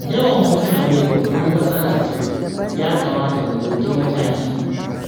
Yawan mutane babbar matsala ce, ya kamata mu ɗauki mataki.